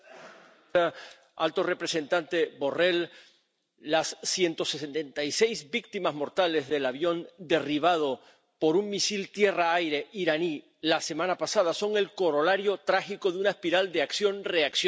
Señora presidenta, alto representante Borrell, las 176 víctimas mortales del avión derribado por un misil tierra aire iraní la semana pasada son el corolario trágico de una espiral de acción reacción.